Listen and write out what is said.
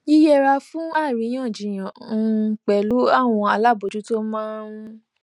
yíyẹra fún àríyànjiyàn um pẹlú àwọn alábòójútó máa ń